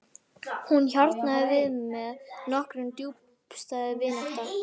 Hún hjarnaði við og með okkur tókst djúpstæð vinátta.